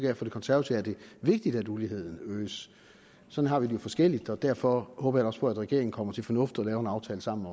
at for de konservative er det vigtigt at uligheden øges sådan har vi det jo forskelligt og derfor håber jeg også på at regeringen kommer til fornuft og laver en aftale sammen